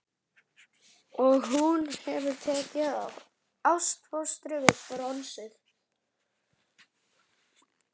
Og hún hefur tekið ástfóstri við bronsið.